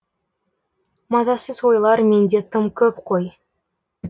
мазасыз ойлар менде тым көп қой